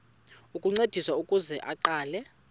ukuncediswa ukuze aqale